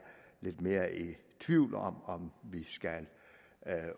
lidt mere i tvivl om om vi skal